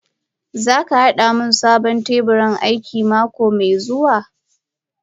Zaka hada min sabon teburin aiki mako mai zuwa?